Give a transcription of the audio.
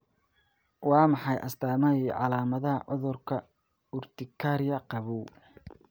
Waa maxay astamaha iyo calaamadaha cudurka urtikaria qabow?